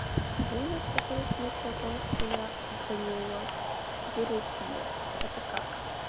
жил я спокойной с мыслью о том что я громила а теперь я киллер это как